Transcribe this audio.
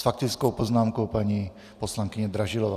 S faktickou poznámkou paní poslankyně Dražilová.